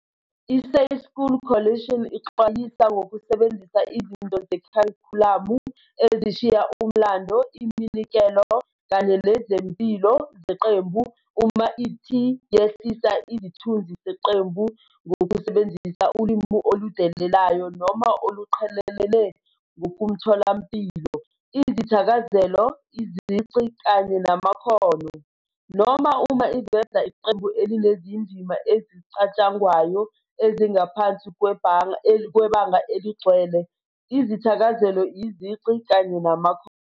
I-Safe School Coalition ixwayisa ngokusebenzisa izinto zekharikhulamu "ezishiya umlando, iminikelo kanye nezimpilo zeqembu, uma i-ti yehlisa isithunzi seqembu ngokusebenzisa ulimi oludelelayo noma oluqhelelene ngokomtholampilo, izithakazelo, izici, kanye namakhono.noma uma iveza iqembu elinezindima ezicatshangwayo ezingaphansi kwebanga eligcwele. izithakazelo, izici kanye namakhono."